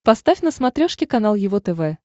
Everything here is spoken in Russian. поставь на смотрешке канал его тв